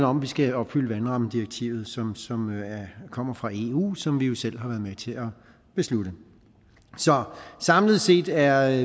om at vi skal opfylde vandrammedirektivet som kommer fra eu og som vi jo selv har været med til at beslutte så samlet set er